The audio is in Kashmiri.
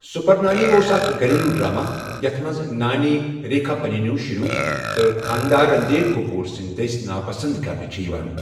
سوٗپرَ نانی اوس اَکھ گھریلوٗ ڈرٛامہ، یَتھ منٛز نانۍ ریکھا پنٛنیو شُریو تہٕ خانٛدار، رٔنٛدھیٖر کٔپوٗر سندِ دٔسۍ ناپسنٛد كرنہٕ چھےٚ یوان ۔